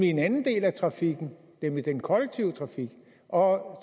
i en anden del af trafikken nemlig den kollektive trafik og